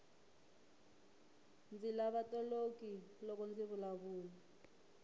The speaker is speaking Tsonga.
ndzi lava toloki loko ndzi vulavula